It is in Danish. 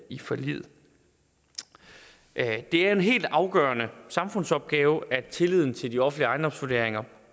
i forliget det er en helt afgørende samfundsopgave at tilliden til de offentlige ejendomsvurderinger